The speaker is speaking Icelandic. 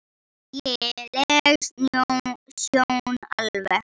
Ægi leg sjón alveg.